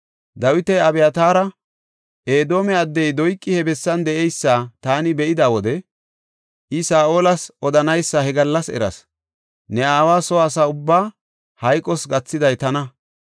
Dawiti Abyataara, “Edoome addey Doyqi he bessan de7eysa taani be7ida wode I Saa7olas odanaysa he gallas eras. Ne aawa soo asa ubbaa hayqos gathiday tana.